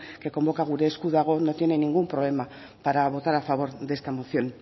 que convoca gure esku dago no tiene ningún problema para votar a favor de esta moción